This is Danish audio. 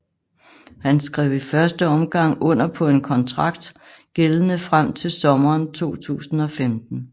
Han skrev i første omgang under på en kontrakt gældende frem til sommeren 2015